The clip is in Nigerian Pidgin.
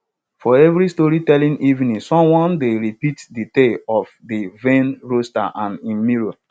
for every storytelling evening someone dey repeat de tale of de vain rooster and im mirror